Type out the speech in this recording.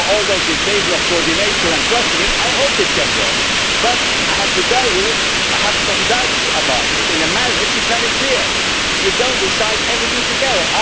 We have always been in favour of coordination and clustering, and I hope it can work, but I have to tell you that I have doubts about it. In a marriage it is very clear you do not decide everything together.